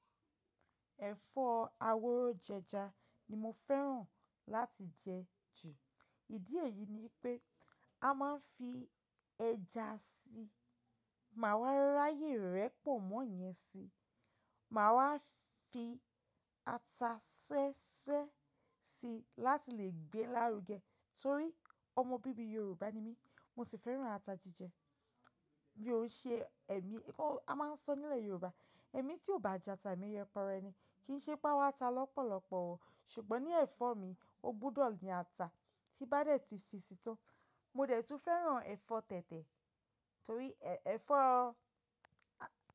Ẹ̀fọ́ aworo jẹja ni mo fẹ́ràn láti jẹ jù. Ìdí èyí ni ipé a máa ń fi ẹja síi, máa wá ráyè rẹ̀ pọ̀nmọ́ yẹn síi, máa wá fi ata ṣẹ́ṣẹ́ síi láti lè gbé lárugẹ. Torí ọmọ bíbí Yorùbá ni mí, mo sì fẹ́ràn ata jíjẹ. Bí ó ṣe ẹ̀mí, ó a máa ń sọ nílẹ̀ Yorùbá "ẹ̀mí tí ò bá jẹ ata, èmi yẹpe rẹ ni" kì ń ṣe pé a wá ata lọ́pọ̀lọpọ̀ o. Ṣùgbọ́n ní ẹ̀fọ́ mi, ó gbúdọ̀ ní ata tí í bá dẹ̀ ti fi sí tan. Mo dẹ̀ tún fẹ́ràn ẹ̀fọ́ tẹ̀tẹ̀ torí ẹ̀fọ́ a.